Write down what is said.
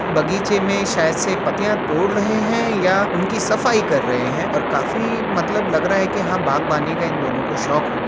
बगीचे में शायद् से पत्तियाँ तोड़ रहे हैं या उनकी सफाई कर रहे हैं और काफ़ी मतलब लग रहा है कि हाँ बाग़वानी का इन दोनों को शौक होगा।